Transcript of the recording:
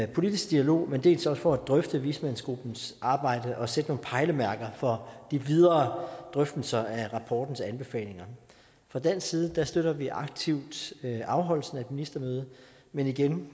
politisk dialog men dels også for at drøfte vismandsgruppens arbejde og sætte nogle pejlemærker for de videre drøftelser af rapportens anbefalinger fra dansk side støtter vi aktivt afholdelsen af et ministermøde men igen